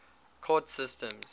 court systems